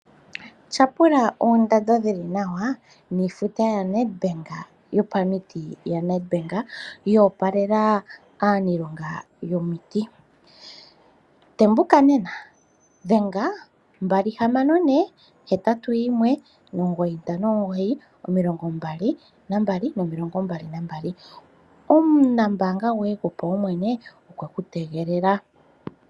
Tyapula oondando dhi li nawa niifuta yaNedbank yopaunamiti yo opalela aanashilonga yopaunamiti. Tembuka nena! Dhenga +264 819592222. Omunambaanga goye gopaumwene okwe ku tegelela.